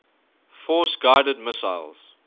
force guided missiles